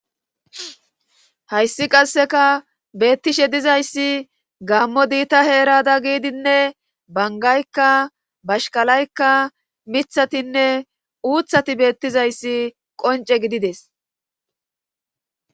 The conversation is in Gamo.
Hayssi qasseka beettishe dizayssi gammo diita heerada giidinne bangaykka bashkalaykka mithatinne uuthati beettizayssi qonce gidides